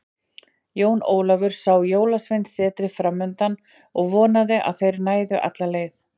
Jón Ólafur sá Jólasveinasetrið framundan og vonaði að þeir næðu alla leið.